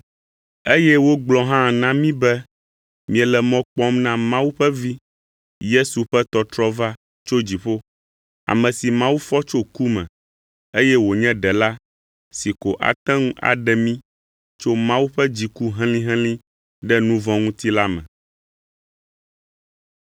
Eye wogblɔ hã na mí be miele mɔ kpɔm na Mawu ƒe Vi, Yesu ƒe tɔtrɔ va tso dziƒo; ame si Mawu fɔ tso ku me, eye wònye Ɖela si ko ate ŋu aɖe mí tso Mawu ƒe dziku helĩhelĩ ɖe nu vɔ̃ ŋuti la me.